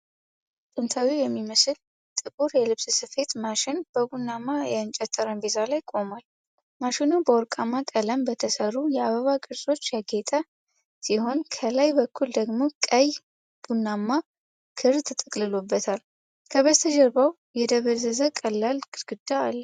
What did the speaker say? ጥንታዊ የሚመስል ጥቁር የልብስ ስፌት ማሽን በቡናማ የእንጨት ጠረጴዛ ላይ ቆሟል። ማሽኑ በወርቃማ ቀለም በተሠሩ የአበባ ቅርጾች ያጌጠ ሲሆን፣ ከላይ በኩል ደግሞ ቀይ/ቡናማ ክር ተጠቅልሎበታል። ከበስተጀርባው የደበዘዘ ቀላል ግድግዳ አለ።